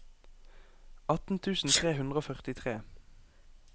atten tusen tre hundre og førtitre